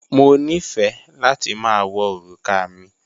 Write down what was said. Mo nífẹ́ láti ma wọ orúkà mi